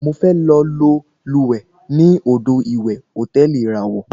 Mo fẹ lọ lúwẹ̀ẹ́ ní odò ìwẹ̀ hòtẹ́ẹ̀lì ìràwọ̀.